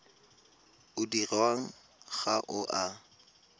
o dirwang ga o a